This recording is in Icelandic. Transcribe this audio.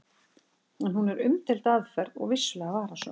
En hún er umdeild aðferð og vissulega varasöm.